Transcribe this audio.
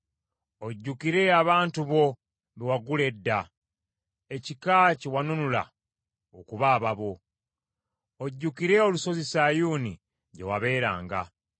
Ojjukire abantu bo be wagula edda; ekika kye wanunula okuba ababo. Ojjukire olusozi Sayuuni gye wabeeranga.